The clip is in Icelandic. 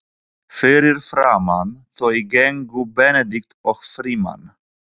Fyrir framan þau gengu Benedikt og Frímann.